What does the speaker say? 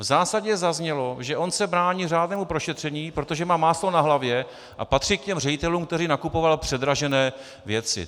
V zásadě zaznělo, že on se brání řádnému prošetření, protože má máslo na hlavě a patří k těm ředitelům, kteří nakupovali předražené věci.